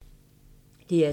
DR2